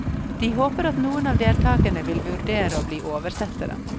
De håper at noen av deltagerne vil vurdere å bli oversettere.